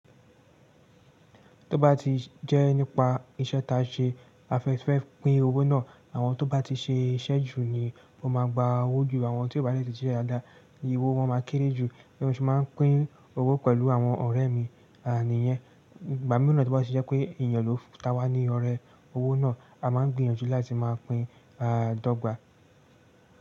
Tó bá ti jẹ́ nípa iṣẹ́ ta ṣe a fẹ́ fẹ́ pín owó náà, àwọn tó bá ti ṣe iṣẹ́ jù ni ó má a gba owó jù, àwọn tí ó bá dè ti se dáadáa ni owó wọn máa kéré jù. Bí mo ṣe máa pín owó pẹ̀lú àwọn ọ̀rẹ́ mi, àníyẹn. Ìgbà mìíràn tí ó bá ti jẹ́ pé èèyàn ló ta wá ní ọrẹ owó náà, a máa gbìyànjú láti máa pín a dọ́gba.